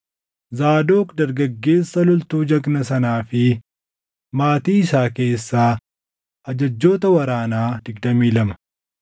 Zaadoq dargaggeessa loltuu jagnaa sanaa fi maatii isaa keessaa ajajjoota waraanaa 22;